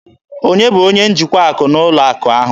Onye bụ onye njikwa akụ na ụlọ akụ ahụ?